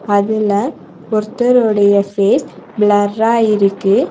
அதுல ஒருத்தரொடைய ஃபேஸ் ப்ளர்ரா இருக்கு.